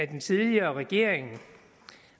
den tidligere regering